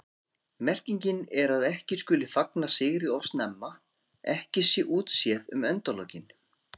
Merkingin er að ekki skuli fagna sigri of snemma, ekki sé útséð um endalokin.